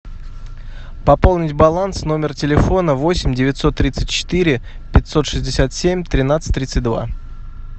пополнить баланс номер телефона восемь девятьсот тридцать четыре пятьсот шестьдесят семь тринадцать тридцать два